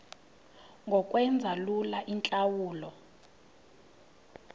ngokwenza lula iintlawulo